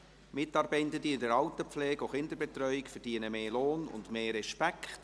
Mitarbeitende in der Alterspflege und Kinderbetreuung verdienen mehr Lohn und mehr Respekt!